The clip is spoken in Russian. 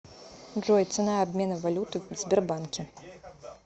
джой цена обмена валюты в сбербанке